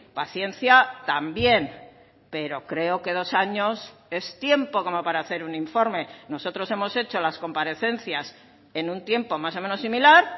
paciencia también pero creo que dos años es tiempo como para hacer un informe nosotros hemos hecho las comparecencias en un tiempo más o menos similar